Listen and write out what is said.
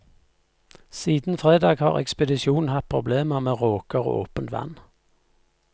Siden fredag har ekspedisjonen hatt problemer med råker og åpent vann.